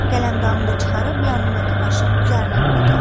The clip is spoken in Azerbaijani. Qələmdanını da çıxarıb yanındakı daşın üzərinə qoydu.